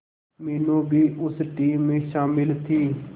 मीनू भी उस टीम में शामिल थी